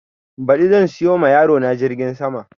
Ɓadi zan siyo ma yaro na jirgin sama